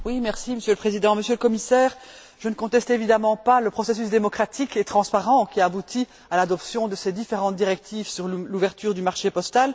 Monsieur le Président, Monsieur le Commissaire, je ne conteste évidemment pas le processus démocratique et transparent qui a abouti à l'adoption de ces différentes directives sur l'ouverture du marché postal.